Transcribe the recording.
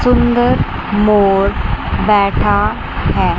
सुंदर मोर बैठा है।